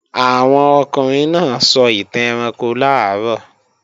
Àwọn ọkùnrin náà sọ ìtàn ẹranko làárọ̀